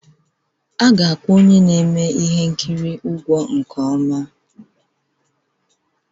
A ga-akwụ onye na-eme ihe nkiri ụgwọ nke ọma